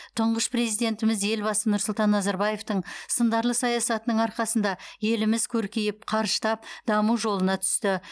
тұңғыш президентіміз елбасы нұрсұлтан назарбаевтың сындарлы саясатының арқасында еліміз көркейіп қарыштап даму жолына түсті